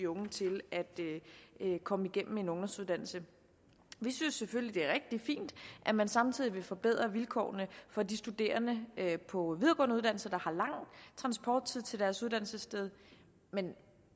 unge til at komme igennem med en ungdomsuddannelse vi synes selvfølgelig det er rigtig fint at man samtidig vil forbedre vilkårene for de studerende på videregående uddannelser der har lang transporttid til deres uddannelsessted men